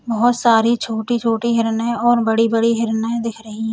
बोहोत सारी छोटी छोटी हिरनें और बड़ी बड़ी हिरनें दिख रही --